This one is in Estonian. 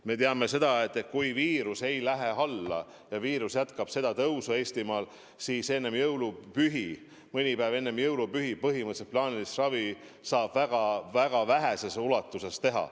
Me teame, et kui viirus ei lähe alla, kui viirus jätkab Eestimaal tõusu, siis mõni päev enne jõulupühi põhimõtteliselt plaanilist ravi saab väga väheses ulatuses teha.